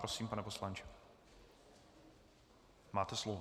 Prosím, pane poslanče, máte slovo.